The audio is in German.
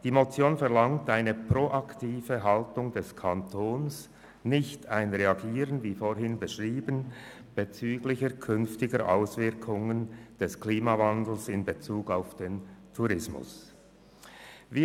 – Die Motion verlangt eine proaktive Haltung des Kantons bezüglich künftiger Auswirkungen des Klimawandels auf den Tourismus und nicht ein Reagieren, wie ich es zuvor beschrieben habe.